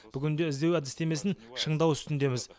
бүгінде іздеу әдістемесін шыңдау үстіндеміз